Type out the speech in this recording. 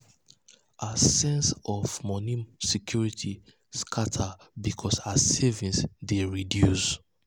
her sense of of moni security scata because her savings dey reduce.